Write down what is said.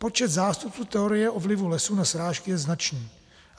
Počet zástupců teorie o vlivu lesů na srážky je značný.